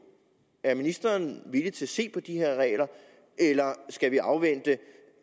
er ministeren villig til at se på de her regler eller skal vi afvente